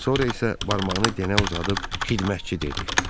Sonra isə barmağını Denə uzadıb: "Xidmətçi" dedi.